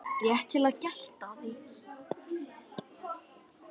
Rétt til getið.